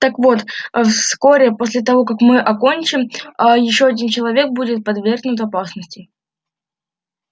так вот вскоре после того как мы окончим аа ещё один человек будет подвергнут опасности